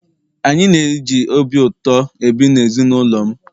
anyị na-eji obi ụtọ ebi na ezi n'ụlọ m